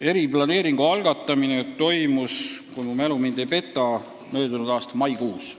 Eriplaneering algatati, kui mu mälu mind ei peta, möödunud aasta maikuus.